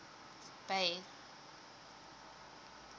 bay